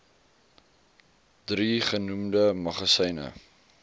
drie genoemde magasyne